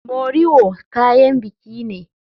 Moriwo kayan biki ne.